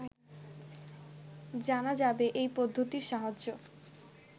জানা যাবে এই পদ্ধতির সাহায্যে